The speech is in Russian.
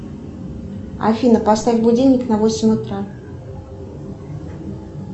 афина поставь будильник на восемь утра